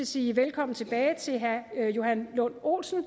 sige velkommen tilbage til herre johan lund olsen og